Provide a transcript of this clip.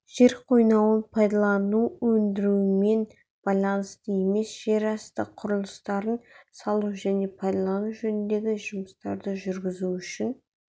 жер қойнауын пайдалану өндірумен байланысты емес жерасты құрылыстарын салу және пайдалану жөніндегі жұмыстарды жүргізу үшін